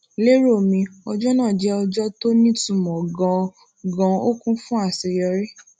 lero mi ọjó náà jé ọjó tó nítumò ganan ganan ó kún fún àṣeyọrí